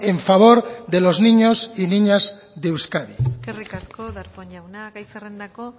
en favor de los niños y niñas de euskadi eskerrik asko darpón jauna gai zerrendako